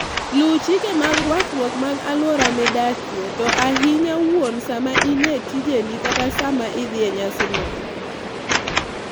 Luw chike mag rwakruok mag alwora midakie, to ahinya wuon sama in e dijeni kata sama idhi e nyasi moro.